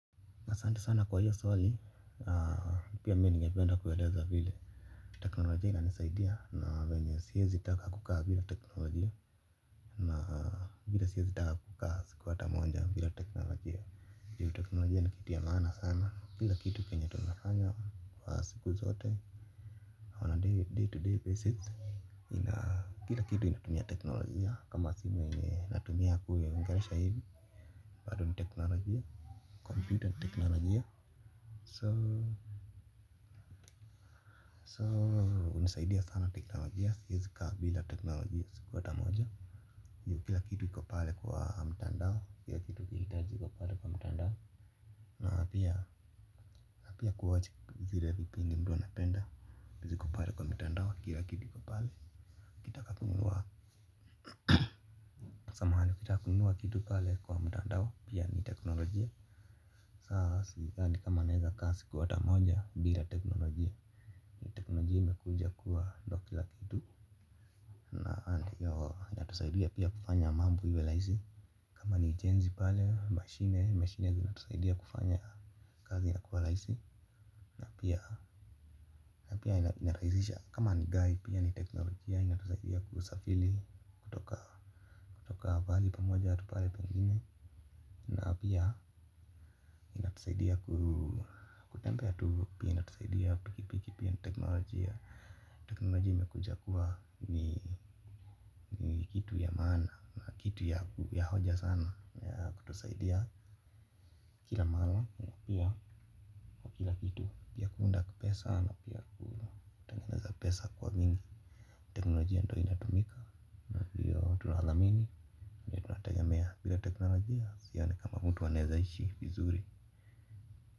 Asanti sana kwa hiyo swali pia mimi ningependa kueleza vile teknolojia inanisaidia na venye siwezi taka kaa bila teknolojia on a daily day to day basis nina kila kitu inatumia teknolojia. Kama simu yenye natumia kule ongelesha hivi. Bado ni teknolojia, computer ni teknolojia so so hunisaidia sana teknolojia siwezi kaa bila teknolojia siku hata moja kila kitu iko pale kwa mtandao kila kitu ukihitaji iko pale kwa mtandao na pia na pia kuwatch zile vipindi mtu anapenda ziko pale kwa mtandao kila kitu iko pale ukitaka kununua samahani ukitaka kununua kitu pale kwa mtandao pia ni teknolojia saa sidhani kama naweza kaa siku hata moja bila teknolojia teknolojia imekuja kuwa ndo kila kitu. Na hiyo yatusaidia pia kufanya mambo iwe rahisi. Kama ni jenzi pale, mashine, mashine zinatusaidia kufanya kazi inakuwa rahisi na pia pia inarahisisha. Kama ni gari pia ni teknolojia inatusaidia kusafiri kutoka kutoka pahali pamoja hata pale pengine. Na pia inatusaidia kutembea tu pia inatusaidia tu pikipiki pia ni teknolojia. Teknolojia imekuja kuwa ni kitu ya maana na kitu ya hoja sana ya kutusaidia. Kila mara na pia kwa kila kitu ya kuunda pesa ama pia kutengeneza pesa kwa wingi teknolojia ndo inatumika na ndio tunathamini bila teknolojia sidhani kama mtu anaweza ishi vizuri.